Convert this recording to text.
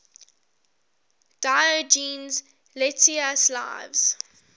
diogenes laertius's lives